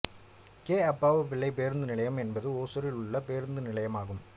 K Appavu Pillai பேருந்து நிலையம் என்பது ஒசூரில் உள்ள பேருந்து நிலையமாகும்